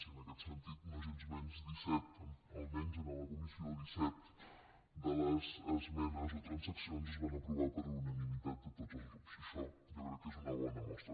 i en aquest sentit nogensmenys almenys en la comissió disset de les esmenes o transaccions es van aprovar per unanimitat de tots els grups i això jo crec que n’és una bona mostra